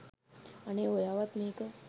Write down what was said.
අනේ ඔයාවත් මේක